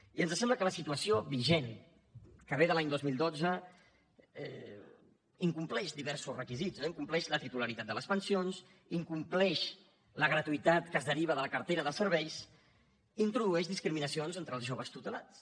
i ens sembla que la situació vigent que ve de l’any dos mil dotze incompleix diversos requisits no incompleix la titularitat de les pensions incompleix la gratuïtat que es deriva de la cartera de serveis i introdueix discriminacions entre els joves tutelats